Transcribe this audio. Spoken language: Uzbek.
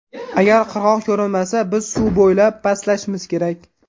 Agar qirg‘oq ko‘rinmasa, biz suv bo‘ylab pastlashimiz kerak”.